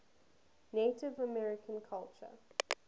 native american culture